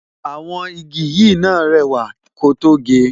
Àwọn igi yìí náà rẹwà ko tó ge